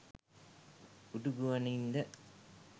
උඩු ගුවනින් ද?